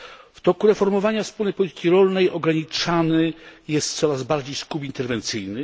W toku reformowania Wspólnej Polityki Rolnej ograniczany jest coraz bardziej skup interwencyjny.